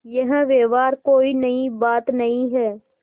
यह व्यवहार कोई नई बात नहीं है